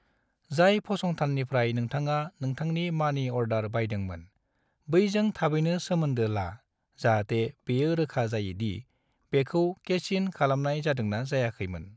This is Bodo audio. जाय फसंथाननिफ्राय नोंथाङा नोंथांनि मनि अर्डार बायदोंमोन, बैजों थाबैनो सोमोन्दो ला जाहाते बेयो रोखा जायोदि बेखौ कैश इन खालामनाय जादोंना जायाखैमोन।